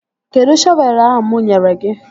Kedụ shọvelu ahụ mụ nyere gị?